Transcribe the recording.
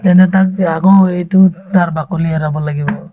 তেন্তে তাক এই আকৌ সেইটো তাৰ বাকলি এৰাব লাগিব